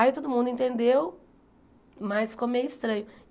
Aí todo mundo entendeu, mas ficou meio estranho.